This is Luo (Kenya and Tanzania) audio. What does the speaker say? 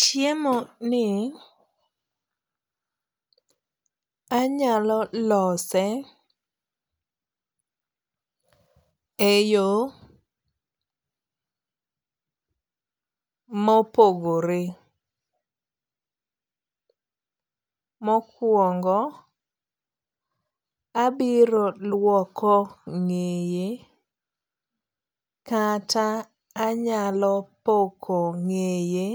Chiemo ni anyalo lose e yo mopogore. Mokuongo abiro luoko ng'eye kata anyalo poko ng'eye